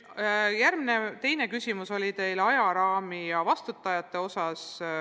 Teine küsimus oli teil ajaraami ja vastutajate kohta.